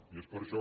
i és per això